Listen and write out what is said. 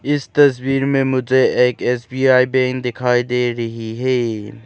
इस तस्वीर में मुझे एक एस_बी_आई बैंक दिखाई दे रही है।